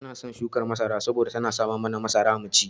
Ina son shukar masara saboda tana samar mana da masara mu ci.